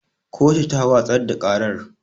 Kotu ta watsar da ƙarar